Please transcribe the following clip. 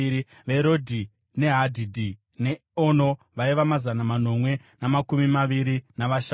veRodhi neHadhidhi neOno vaiva mazana manomwe namakumi maviri navashanu;